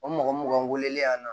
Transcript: O mɔgɔ mugan weleli la